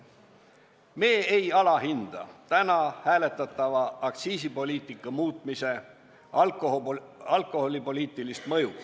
Me ei alahinda täna hääletatava aktsiisipoliitika muutmise alkoholipoliitilist mõju.